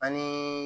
Ani